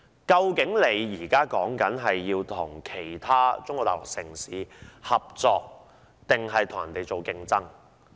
究竟香港應與其他中國大陸城市合作還是競爭呢？